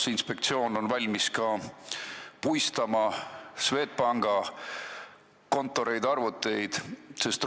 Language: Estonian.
Kas inspektsioon on valmis puistama ka Swedbanki kontoreid, arvuteid?